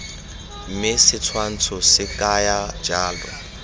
mme setshwantsho se kaya jalo